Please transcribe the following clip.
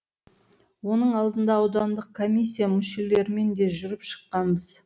оның алдында аудандық комиссия мүшелерімен де жүріп шыққанбыз